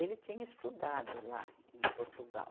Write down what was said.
Ele tinha estudado lá em Portugal.